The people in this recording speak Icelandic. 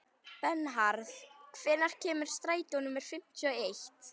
Bernharð, hvenær kemur strætó númer fimmtíu og eitt?